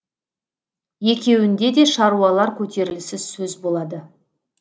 екеуінде де шаруалар көтерілісі сөз болады